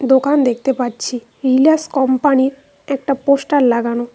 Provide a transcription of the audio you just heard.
দোকান দেখতে পাচ্ছি রিলাস কোম্পানির একটা পোস্টার লাগানো।